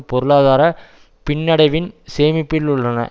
பொருளாதார பின்னடைவின் சேமிப்பில் உள்ளன